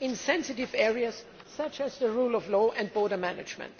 in sensitive areas such as the rule of law and border management.